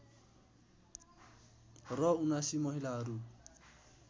र ७९ महिलाहरू